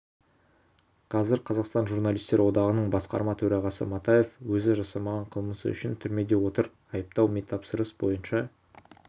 қазір қазақстан журналистер одағының басқарма төрағасы матаев өзі жасамаған қылмысы үшін түрмеде отыр айыптау мемтапсырыс бойынша